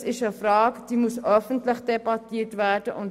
Das ist eine Frage, die öffentlich debattiert werden muss.